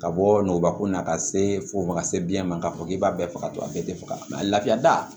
Ka bɔ nɔgɔ ko la ka se fo ka se biyɛn ma k'a fɔ k'i b'a bɛɛ faga a bɛɛ te faga mɛ laafiya da